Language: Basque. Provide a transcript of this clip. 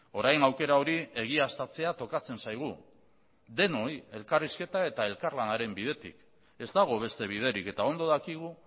orain aukera hori egiaztatzea tokatzen zaigu denoi elkarrizketa eta elkarlanaren bidetik ez dago beste biderik eta ondo dakigu